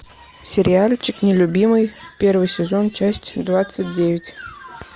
сериальчик нелюбимый первый сезон часть двадцать девять